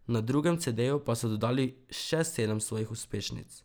Na drugem cedeju pa so dodali še sedem svojih uspešnic.